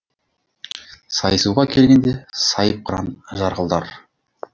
сайысуға келгенде сайып қыран жарқылдар